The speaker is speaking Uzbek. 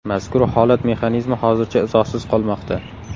Mazkur holat mexanizmi hozircha izohsiz qolmoqda.